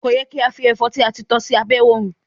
Ko yẹ ki a fi ẹfọ ti a ti tọ s'abe òrùn.